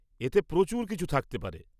-এতে প্রচুর কিছু থাকতে পারে।